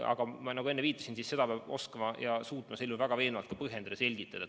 Aga nagu ma enne viitasin, keeldumist peab suutma väga veenvalt põhjendada, selgitada.